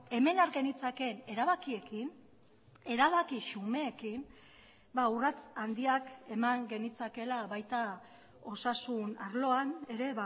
hemen har genitzakeen erabakiekin erabaki xumeekin urrats handiak eman genitzakeela baita osasun arloan ere